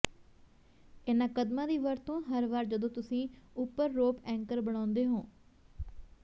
ਇਹਨਾਂ ਕਦਮਾਂ ਦੀ ਵਰਤੋਂ ਹਰ ਵਾਰ ਜਦੋਂ ਤੁਸੀਂ ਉੱਪਰ ਰੋਪ ਐਂਕਰ ਬਣਾਉਂਦੇ ਹੋ